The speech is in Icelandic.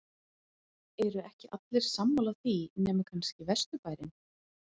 eru ekki allir sammála því nema kannski vesturbærinn?